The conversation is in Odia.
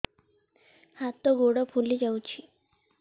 ହାତ ଗୋଡ଼ ଫୁଲି ଯାଉଛି